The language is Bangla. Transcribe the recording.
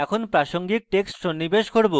আমরা এখন প্রাসঙ্গিক texts সন্নিবেশ করব